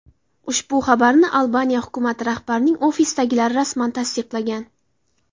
Ushbu xabarni Albaniya hukumati rahbarining ofisidagilar rasman tasdiqlagan.